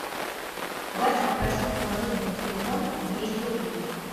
вася попросил положить ему на телефон двести рублей